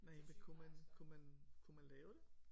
Næh men kunne man kunne man kunne man lave det?